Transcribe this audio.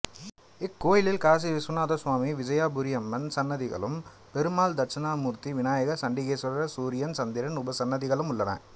இக்கோயிலில் காசி விஸ்வநாத சுவாமி விஜயாபுரியம்மன் சன்னதிகளும் பெருமாள் தட்சிணாமூர்த்தி விநாயகர் சண்டிகேஸ்வரர் சூரியன் சந்திரன் உபசன்னதிகளும் உள்ளன